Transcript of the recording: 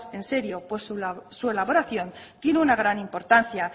en serio pues su elaboración tiene una gran importancia